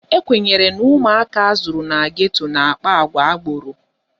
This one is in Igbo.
Ekwenyere na ụmụaka azụrụ na geto na-akpa àgwà agboro.